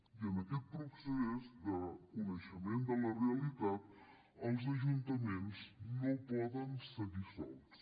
i en aquest procés de coneixement de la realitat els ajuntaments no poden seguir sols